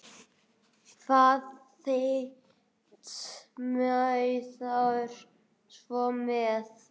Hvað veit maður svo sem.